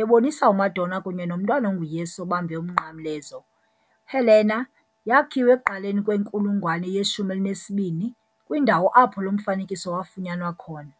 ebonisa uMadonna kunye noMntwana onguYesu obambe uMnqamlezo. Helena yakhiwa ekuqaleni kwenkulungwane ye-12 kwindawo apho lo mfanekiso wafunyanwa khona.